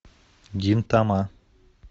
гинтама